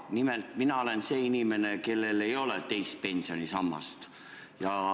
Nimelt, mina olen see inimene, kellel ei ole teist pensionisammast.